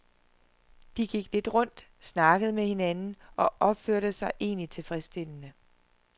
De gik lidt rundt, snakkede med hinanden og opførte sig egentlig tilfredsstillende.